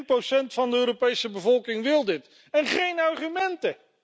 1 van de Europese bevolking wil dit en geen argumenten!